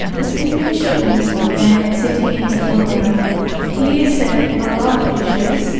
This image shows a man sitting in the foreground. He is selling a lot of fishes.